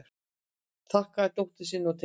Þakkar dóttur sinni og tengdasyni